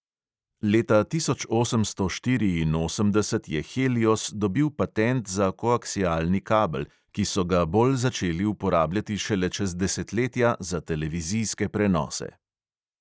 Leta tisoč osemsto štiriinosemdeset je helios dobil patent za koaksialni kabel, ki so ga bolj začeli uporabljati šele čez desetletja za televizijske prenose.